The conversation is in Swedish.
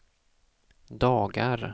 dagar